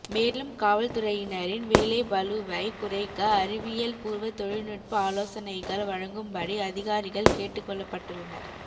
மேலும் காவல்துறையினரின்வேலைப்பளுவை குறைக்க அறிவியல் பூர்வ தொழில் நுட்ப ஆலோசனைகள் வழங்கும்படி அதிகாரிகள் கேட்டுக் கொள்ளப்பட்டுள்ளனர்